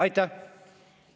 Aitäh!